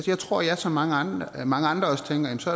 jeg tror jeg som mange andre mange andre også tænker at så